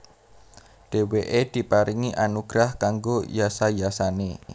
Dhèwèké diparingi anugrah kanggo yasa yasané